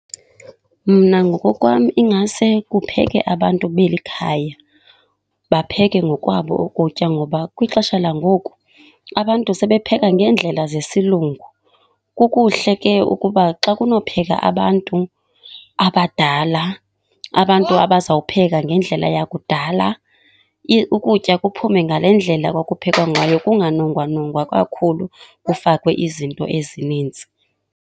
Mna ngokokwam ingase kupheke abantu beli khaya, bapheke ngokwabo ukutya ngoba kwixesha langoku abantu sebepheka ngeendlela zesilungu. Kukuhle ke ukuba xa kunopheka abantu abadala, abantu abazawupheka ngendlela yakudala ukutya kuphume ngale ndlela kwakuphekwa ngayo. Kunganongwanongwa kakhulu kufakwe izinto ezininzi.